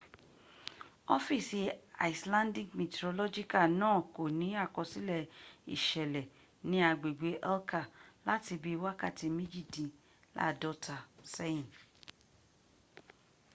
ọfíìsì icelandic meteorological náà kò ní àkọsílẹ̀ ìṣẹ̀lẹ̀ ni agbègbè helka láti bí wakàtí méjìdín ní àádọ́ta sẹ́yì